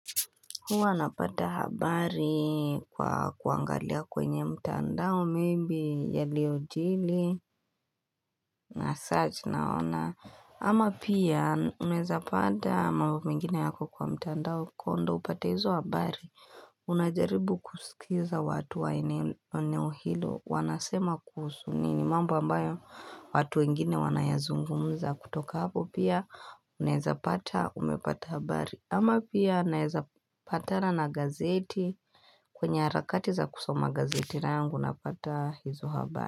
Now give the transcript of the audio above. Huwa napata habari kwa kuangalia kwenye mtandao maybe yaliojili na search naona. Ama pia unaweza pata mambo mengine yapo kwenye mtandao kuwa ndio upate hizo habari. Unajaribu kusikiza watu wa eneo hilo wanasema kuhusu nini. Mamba ambayo watu wengine wanayazungumza kutoka hapo pia unaweza pata umepata habari. Ama pia naweza patana na gazeti kwenye harakati za kusoma gazeti langu napata hizo habari.